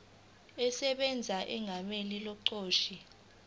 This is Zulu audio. esebenza egameni lomqashi